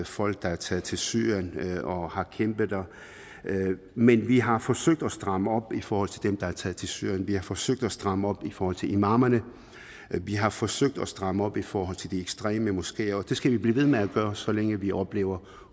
folk der er taget til syrien og har kæmpet der men vi har forsøgt at stramme op i forhold til dem der er taget til syrien vi har forsøgt at stramme op i forhold til imamerne vi har forsøgt at stramme op i forhold til de ekstreme moskeer og det skal vi blive ved med at gøre så længe vi oplever